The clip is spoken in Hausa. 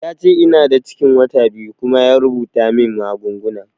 Yace ina da cikin wata biyu kuma ya rubuta min magunguna